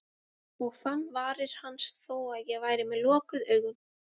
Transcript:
Og fann varir hans þó að ég væri með lokuð augun.